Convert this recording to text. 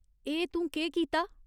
एह् तूं केह् कीता ?